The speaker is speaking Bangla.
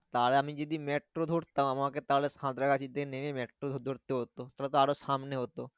তাহলে আমি যদি মেট্রো ধরতাম আমাকে তাহলে সাঁতরাগাছিতে নেমে মেট্রো ধরতে হতো তাহলে আরো তো সামনে হতো।